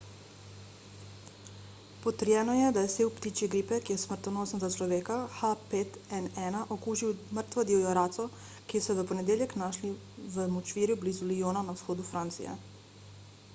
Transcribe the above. potrjeno je da je sev ptičje gripe ki je smrtonosen za človeka h5n1 okužil mrtvo divjo raco ki so jo v ponedeljek našli v močvirju blizu lyona na vzhodu francije